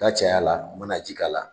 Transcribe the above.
N'a caya la, u bɛna ji k'a la.